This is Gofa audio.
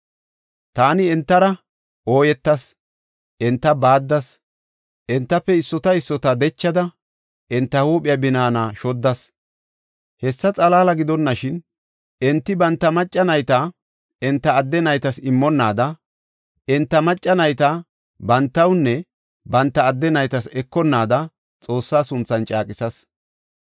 Taani entara ooyetas; enta baaddas; entafe issota issota dechada, enta huuphiya binaana shoddas. Hessa xalaala gidonashin, enti banta macca nayta enta adde naytas immonnaada, enta macca nayta bantawunne banta adde naytas ekonnaada Xoossaa sunthan caaqisas.